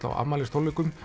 á afmælistónleikum